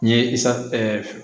N ye sa